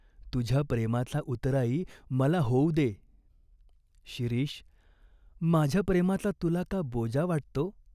तुझ्या प्रेमाचा उतराई मला होऊ दे." "शिरीष, माझ्या प्रेमाचा तुला का बोजा वाटतो?